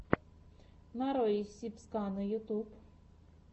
нарой сибскана ютуб